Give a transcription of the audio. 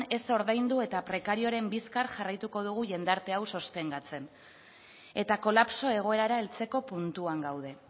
ez ordaindu eta prekarioaren bizkar jarraituko dugu jendarte hau sostengatzen eta kolapso egoerara heltzeko puntuan gaude